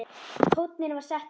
Tónninn var settur.